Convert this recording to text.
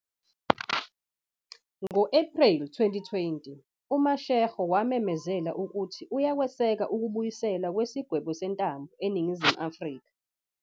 Ngo-Ephreli 2020, uMashego wamemezela ukuthi uyakweseka ukubuyiselwa kwesigwebo sentambo eNingizimu Afrika.